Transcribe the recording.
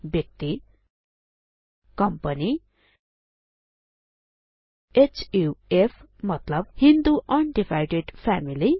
व्यक्ति कम्पनी हुफ मतलब हिन्दु un डिभाइडेड फ्यामिली